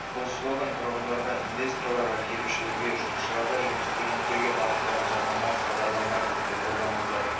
бұл слоган тұрғындарға инвесторларға келушілерге жұмысшыларға және студенттерге бағытталған жарнамалық хабарлама ретінде қолданылды